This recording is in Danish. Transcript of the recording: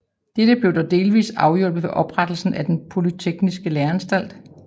Dette blev dog delvis afhjulpet ved oprettelsen af den polytekniske læreanstalt